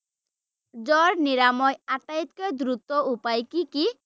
জ্বৰ নিৰাময় আটাইতকৈ দ্ৰুত উপায় কি কি?